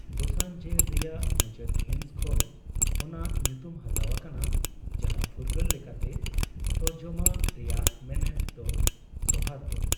ᱫᱳᱥᱟᱱᱡᱮᱨ ᱨᱮᱭᱟᱜ ᱢᱩᱪᱟᱹᱫ ᱦᱤᱸᱥ ᱠᱷᱚᱱ ᱚᱱᱟ ᱧᱩᱛᱩᱢ ᱦᱟᱛᱟᱣ ᱟᱠᱟᱱᱟ, ᱡᱟᱦᱟᱸ ᱯᱷᱩᱨᱜᱟᱹᱞ ᱞᱮᱠᱟᱛᱮ ᱛᱚᱨᱡᱚᱢᱟ ᱨᱮᱭᱟᱜ ᱢᱮᱱᱮᱛ ᱫᱚ ᱥᱳᱣᱦᱟᱫᱨᱚ ᱾